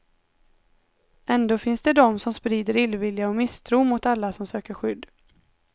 Ändå finns det dom, som sprider illvilja och misstro mot alla som söker skydd.